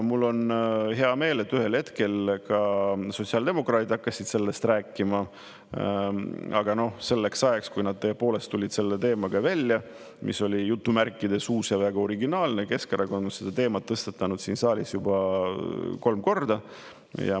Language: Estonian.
Mul on hea meel, et ühel hetkel ka sotsiaaldemokraadid hakkasid sellest rääkima, aga selleks ajaks, kui nad tõepoolest tulid selle teemaga välja, mis oli "uus ja väga originaalne", oli Keskerakond seda teemat tõstatanud siin saalis juba kolm korda.